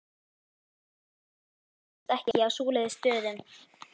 Mikilmenni þrífast ekki á svoleiðis stöðum.